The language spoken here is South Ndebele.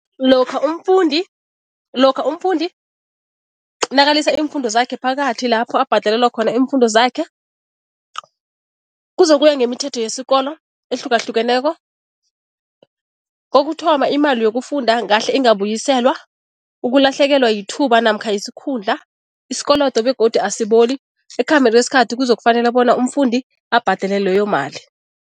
Lokha umfundi, lokha umfundi nakalisa iimfundo zakhe phakathi lapho abhadalelwa khona iimfundo zakhe, kuzokuya ngemithetho yesikolo ehlukahlukeneko. Kokuthoma, imali yokufunda ngahle ingabuyiselwa, ukulahlekelwa yithuba namkha yisikhundla, isikolodo begodu asiboli, ekukhambeni kwesikhathi kuzokufanele bona umfundi abhadale leyo mali.